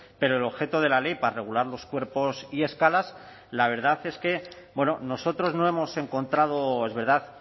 pero el objeto de la ley para regular los cuerpos y escalas la verdad es que nosotros no hemos encontrado es verdad